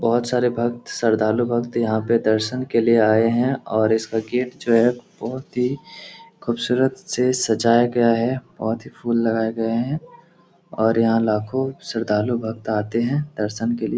बहुत सारे भक्त श्रद्धालु भक्त यहाँ पे दर्शन के लिए आए हैं और इस का गेट जो है बहुत ही खूबसूरत से सजाया गया है बहुत ही फूल लगाए गए हैं और यहाँ लाखो श्रद्धालु भक्त आते हैं दर्शन के लिए।